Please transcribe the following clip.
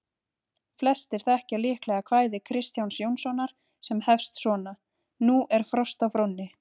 Flestir þekkja líklega kvæði Kristjáns Jónssonar sem hefst svona: Nú er frost á Fróni,